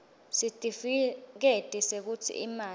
sitifiketi sekutsi imali